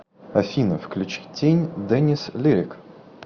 афина включи тень дэнис лирик